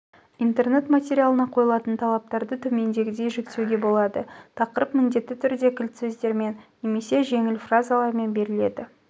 интернет материалына қойылатын талаптарды төмендегідей жіктеуге болады тақырып міндетті түрде кілт сөздермен немесе жеңіл фразалармен беріледі